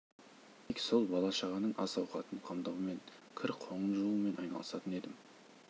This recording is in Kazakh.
тек сол бала шағаның ас ауқатын қамдаумен кір қоңын жуумен айналысатын едім